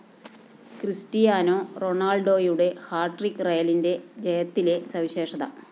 Cristiano റൊണാള്‍ഡോയുടെ hat trick റയലിന്റെ ജയത്തിലെ സവിശേഷത